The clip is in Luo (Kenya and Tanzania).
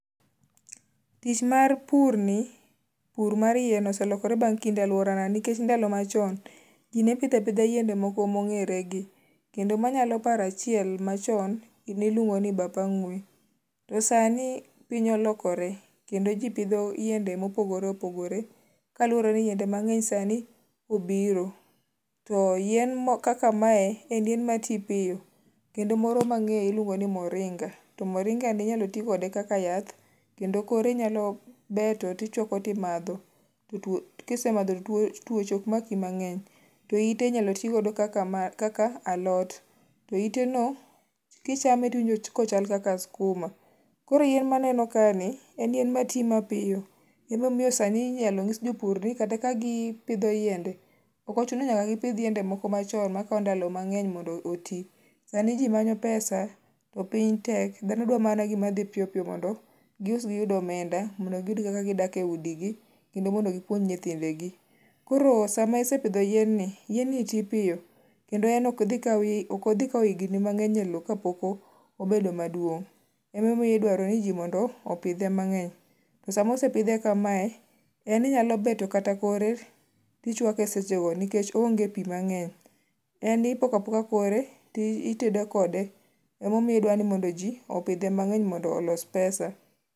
tich mar purni pur mar yien oselokore bang' kinde e aluorana nikech ndalo machon ji ne pidho apidha yiende moko mongere gi kendo manyalo paro achile machon niluongo ni bap ang'ue to sani piny olokore kendo ji pidho yiende mopogore opogore kaluwore ni yiende mang'eny sani obiro to yien kaka mae en yien mati piyo, kendo moro mang'eyo iluongo ni moringa to moringa ni inyalo ti kose kaka yath, kendo kore inyalo beto tichuako ti madho kisemadho to tuoche ok maki mangeny, to ite inyalo ti godo kaka alot, to ite no kichame to iwinjo ka ochal kaka skuma, koro yien ma aneno ka ni en yien mati mapiyo, emo miyo sani inyalo ng'is jopur ni kata ka gipidho yiende ok ochuno ni nyaka gi pidh yiende moko machon makawo ndalo mangeny mondo oti, sani ji manyo pesa to piny tek dhano dwaro mana gima dhi piyo piyo gi us gi yud omenda mondo giyud go kaka gidak e udi gi kendo mondo gipuonj nyithinde gi, koro sama isepidho yien ni yien ni ti piyo kendo en ok odhi kawo higni mang'eny elo kapok mobedo maduong, emo miyo idwaro ni ji mondo opidhe mang'eny, to sama osepidhe kamae en inyalo beto kata kore ti chuake seche go nikech onge pi mang'eny ,en ipoko apoka kore ti tedo kode emo miyo idwa ni ji opidhe mangeny mondo oos pesa